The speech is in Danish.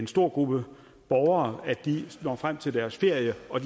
stor gruppe borgere når frem til deres ferie og